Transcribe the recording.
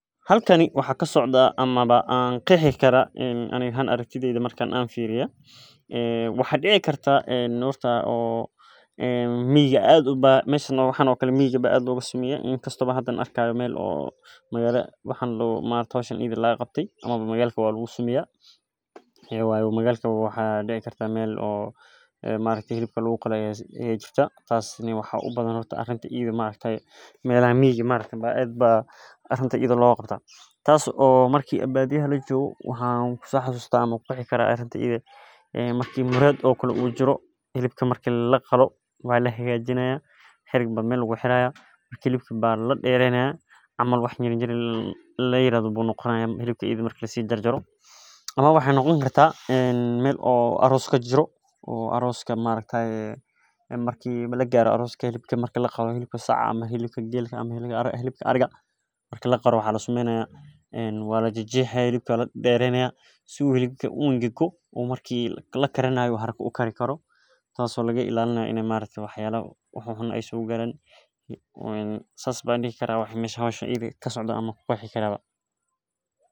Halkani waxaa kasocda ama an qexi karaa waxaa dici kartaa waxa lagu sameya miga iyo magalkawa hata waxaa lagu sameya melaha lagu qalo lakin maxaa u badan miga marki lajar jaro waxaa lajajaro aya marki lakarinayo u haraka uukaro sithas ayan u arki ayan u bari laha horta waa inu mehsa diso u maaragte u gedhaha kajafo oo cara fican sas waye.